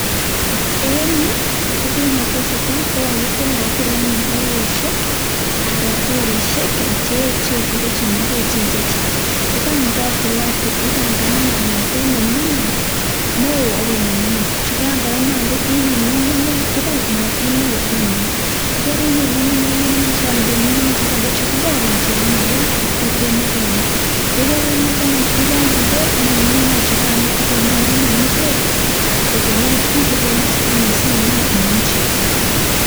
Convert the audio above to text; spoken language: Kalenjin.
En Yu ko kit netesetai ko kakiyilayil anyun baibushek anan teirishek cheyechen akochemengechen chechang yigan kokeyilatil ibangan kongeten nemingin neon akoik nemingin chukan kora konyalu koib ngungunyek tugul kongeten neon akoi nemingin yegarinyit ngungunyek akinde tuguk chukan ngungunyek chekororon cheyamegei ak tuguk chemache imin yegarinyit anyun irangi bek ngungunyek chukano akimin anyun ingwek kotiyengei ak tuguk chikemai simuch iminchi